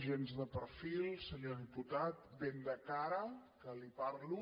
gens de perfil senyor diputat ben de cara que li parlo